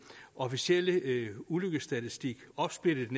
officielle ulykkesstatistik opsplittet